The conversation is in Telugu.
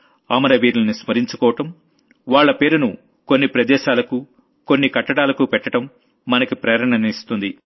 అమర వీరుల్ని స్మరించుకోవడం వాళ్ల పేరును కొన్ని ప్రదేశాలకు కొన్ని కట్టడాలకు పెట్టడం మనకి ప్రేరణనిస్తుంది